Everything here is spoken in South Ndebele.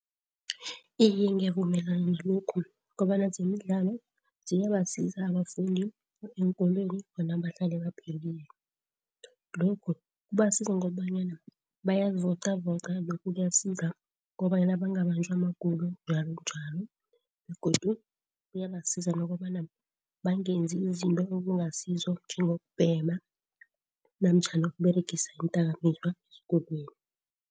Iye, ngiyavumelana nalokhu kobana zemidlalo ziyabasiza abafundi eenkolweni bona bahlale baphilile. Lokhu kubasiza ngobanyana bayazivocavoca lokhu kuyasiza kobanyana bangabanjwa magulo njalonjalo, begodu kuyabasiza nokobana bangenzi izinto okungasizo njengokubhema namtjhana ukuberegisa iindakamizwa esikolweni.